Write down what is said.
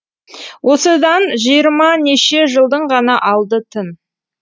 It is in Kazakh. осыдан жиырманеше жылдың ғана алды тын